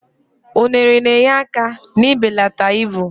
unere na-enyere aka n'ibelata ibu